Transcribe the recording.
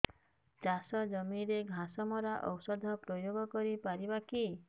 ଚାଷ ଜମିରେ ଘାସ ମରା ଔଷଧ ପ୍ରୟୋଗ କରି ପାରିବା କି